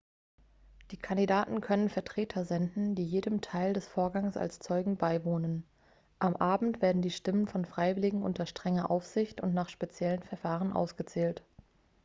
die kandidaten können vertreter senden die jedem teil des vorgangs als zeugen beiwohnen am abend werden die stimmen von freiwilligen unter strenger aufsicht und nach speziellen verfahren ausgezählt